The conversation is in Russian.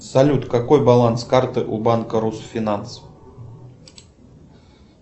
салют какой баланс карты у банка русфинанс